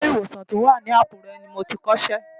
Ilé ìwòsàn tó wà ní Àkúrẹ́ ni mo ti kọ́ṣẹ́.